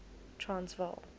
transvaal